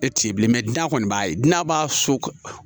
E ti ye bilen n'a kɔni b'a ye n'a b'a so